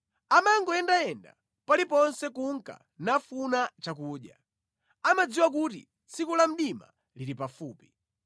Amangoyendayenda pali ponse kunka nafuna chakudya; amadziwa kuti tsiku la mdima lili pafupi.